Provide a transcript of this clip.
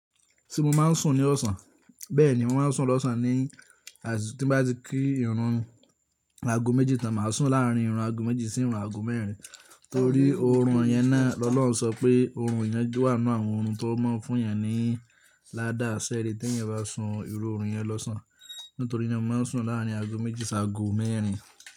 Ti mo máa ń sùn ní ọ̀sán, bẹ́ẹ̀ ni mo máa ń sùn lọ́sàn-án ní àsìkò tí bá ti kí ìrùn mi laago méjì tán, màá sùn láàárín ìrùn aago méjì sí ìrùn aago mẹ́rin. Nítorí òórùn yẹn náà lọ́lọ́ sọ pé òórùn yẹn wà nínú àwọn ohun tó mọ̀ fún yẹn ní ládàá sẹ́ẹ̀rẹ́ tí yẹn bá sùn ìru òórùn yẹn lọ́sàn-án. Nítorí naa, mo máa ń sùn láàárín aago méjì sí aago mẹ́rin.